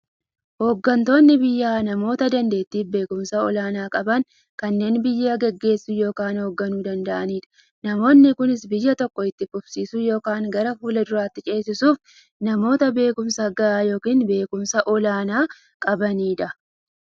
Hooggantoonni biyyaa namoota daanteettiifi beekumsa olaanaa qaban, kanneen biyya gaggeessuu yookiin hoogganuu danda'aniidha. Namoonni kunis, biyya tokko itti fufsiisuuf yookiin gara fuulduraatti ceesisuuf, namoota beekumsa gahaa yookiin beekumsa olaanaa qabaniidha.